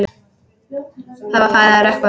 Það var farið að rökkva.